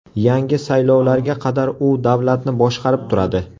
Yangi saylovlarga qadar u davlatni boshqarib turadi.